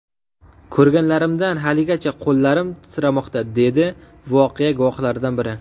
Ko‘rganlarimdan haligacha qo‘llarim titramoqda”, dedi voqea guvohlaridan biri.